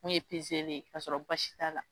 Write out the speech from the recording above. Mun ye pezeli k'a sɔrɔ basi t'a la.